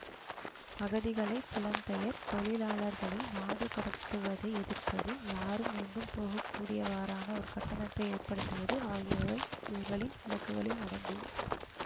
அகதிகளை புலம்பெயர் தொழிலாளர்களை நாடுகடத்துவதை எதிர்ப்பது யாரும் எங்கும் போக கூடியவாறான ஒரு கட்டமைப்பை ஏற்படுத்துவது ஆகியவை இவர்களின் இலக்குகளில் அடங்கும்